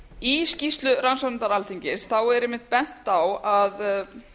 í skýrslu rannsóknarnefndar alþingis er einmitt bent á að